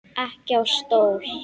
Ekki á stól.